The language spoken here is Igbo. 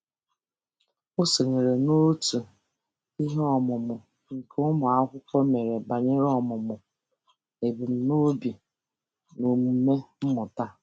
O sonyeere n'òtù iheọmụmụ nke ụmụakwukwo mere banyere ọmụmụ ebumnobi na omume mmụta.